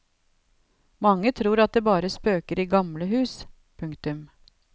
Mange tror at det bare spøker i gamle hus. punktum